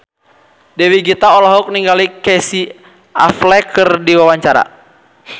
Dewi Gita olohok ningali Casey Affleck keur diwawancara